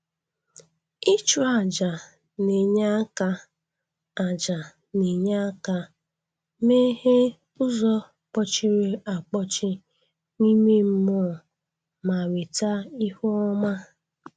Ịchụ ajà na-enye aka ajà na-enye aka meghee ụzọ kpọchiri akpọchi n'ime mmụọ ma weta ihu ọma.